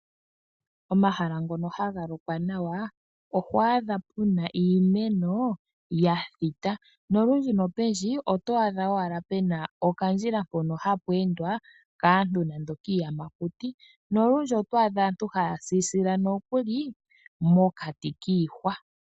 Oomahala ngono haga lokwa nawa oohwaadha puna iimeno yathita. Nolundji nopendji, ootwaadha owala pena okandjila hono hapweendwa kaantu nando kiiyamakuti. Nolundji otwaadha aantu hayasisila nokuli mokati kiihwa.